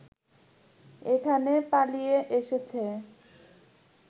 এখানে পালিয়ে এসেছে